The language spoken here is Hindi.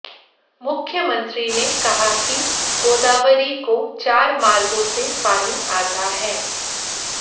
मुख्यमंत्री ने कहा कि गोदावरी को चार मार्गों से पानी आता है